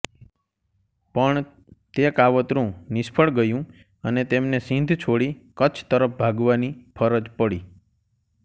પણ તે કાવતરું નિષ્ફળ ગયું અને તેમને સિંધ છોડી કચ્છ તરફ ભાગવાની ફરજ પડી